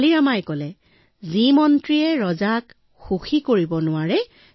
তেনালী ৰামাই হাঁহি কলে সেই মন্ত্ৰীয়েই বা কি কামৰ যিয়ে ৰজাক সুখী কৰিব নোৱাৰে